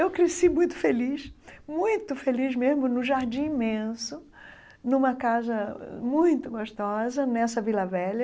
Eu cresci muito feliz, muito feliz mesmo, no Jardim Imenso, numa casa muito gostosa, nessa Vila Velha.